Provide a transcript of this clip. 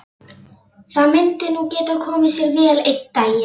Það myndi nú geta komið sér vel einn daginn.